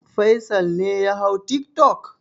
Faisal ne ya hau tiktok?